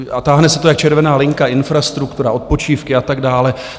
A táhne se to jak červená linka - infrastruktura, odpočívky a tak dále.